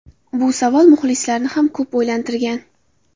Bu savol muxlislarni ham ko‘p o‘ylantirgan.